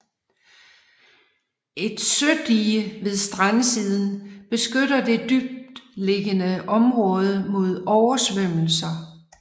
Et sødige ved strandsiden beskytter det dybtliggende område mod oversvømmelser